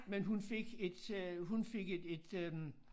Men hun fik et øh hun fik et et øh